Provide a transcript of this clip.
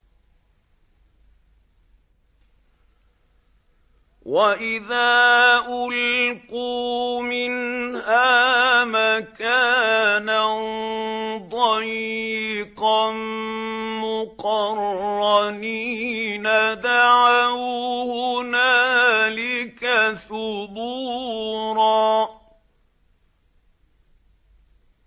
وَإِذَا أُلْقُوا مِنْهَا مَكَانًا ضَيِّقًا مُّقَرَّنِينَ دَعَوْا هُنَالِكَ ثُبُورًا